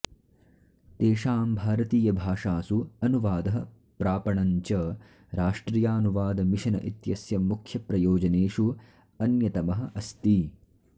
तेषां भारतीयभाषासु अनुवादः प्रापणं च राष्ट्रियानुवादमिशन इत्यस्य मुख्यप्रयोजनेषु अन्यतमः अस्ति